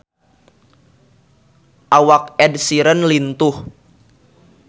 Awak Ed Sheeran lintuh